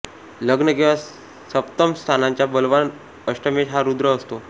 लग्न किंवा सप्तम स्थानांच्या बलवान अष्टमेश हा रुद्र असतो